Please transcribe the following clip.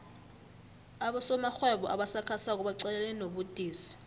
abosomarhwebo abasakhasako baqalene nobudisi